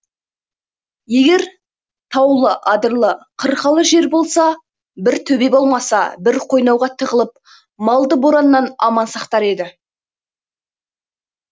егер таулы адырлы қырқалы жер болса бір төбе болмаса бір қойнауға тығылып малды бораннан аман сақтар еді